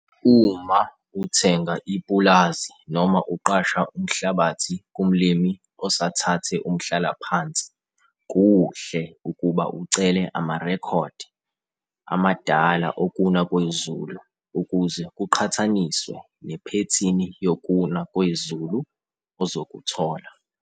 Uma uthenga ipulazi noma uqasha umhlabathi kumlimi oasthathe umhlalaphansi kuhle ukuba ucele amarekhodi amadala okuna kwezulu ukuze kuqhathaniswe nephethini yokuna kwezulu ozokuthola.